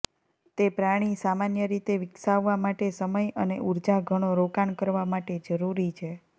તે પ્રાણી સામાન્ય રીતે વિકસાવવા માટે સમય અને ઊર્જા ઘણો રોકાણ કરવા માટે જરૂરી છે